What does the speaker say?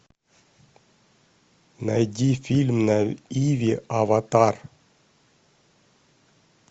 найди фильм на иви аватар